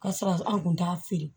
Ka sɔrɔ an kun t'a feere